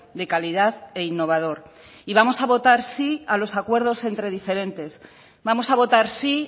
de calidad e innovador y vamos a votar sí a los acuerdos entre diferentes vamos a votar sí